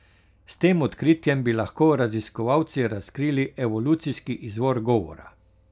S tem odkritjem bi lahko raziskovalci razkrili evolucijski izvor govora.